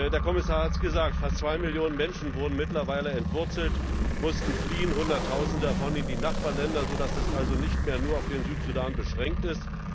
Der Kommissar hat es gesagt Fast zwei Millionen Menschen wurden mittlerweile entwurzelt, mussten fliehen Hunderttausende davon in die Nachbarländer, sodass das also nicht mehr nur auf den Südsudan beschränkt ist.